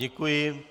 Děkuji.